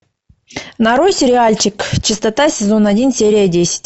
нарой сериальчик чистота сезон один серия десять